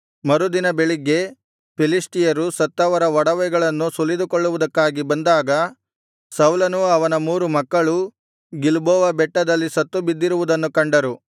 ಮರುದಿನ ಬೆಳಿಗ್ಗೆ ಫಿಲಿಷ್ಟಿಯರು ಸತ್ತವರ ಒಡವೆಗಳನ್ನು ಸುಲಿದುಕೊಳ್ಳುವುದಕ್ಕಾಗಿ ಬಂದಾಗ ಸೌಲನೂ ಅವನ ಮೂರು ಮಕ್ಕಳೂ ಗಿಲ್ಬೋವ ಬೆಟ್ಟದಲ್ಲಿ ಸತ್ತುಬಿದ್ದಿರುವುದನ್ನು ಕಂಡರು